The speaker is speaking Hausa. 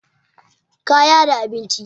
kaya da abinci